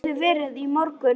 Það hafði verið í morgun.